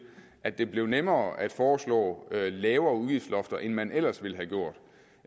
at det blev nemmere at foreslå lavere udgiftslofter end man ellers ville have gjort